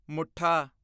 ਮੁੱਠਾ